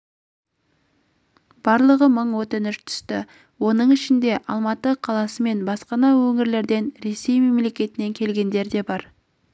барлығы мың өтініш түсті оның ішінде алматы қаласы мен басқа да өңірлерден ресей мемлекетінен келгендер де